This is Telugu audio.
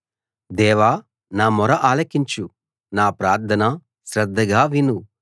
దేవా నా మొర ఆలకించు నా ప్రార్థన శ్రద్ధగా విను